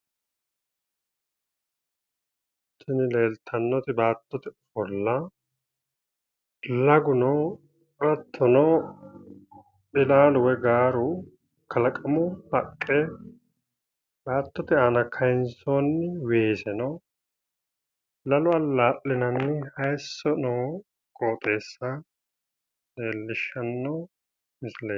Tini leeltannoti baattote ofolla lagu no. Hattono ilaalu woyi gaaru, kalaqamu haqqe, baattote aana kayinsoonni weeseno, lalo allaa'linanni hayisso noo qooxeessa leellishshanno misileeti.